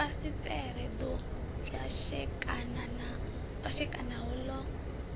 fasiṱere ḓo pwashekanaho ḽa z